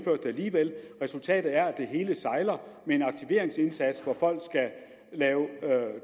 alligevel resultatet er at det hele sejler med en aktiveringsindsats hvor folk skal lave